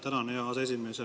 Tänan, hea aseesimees!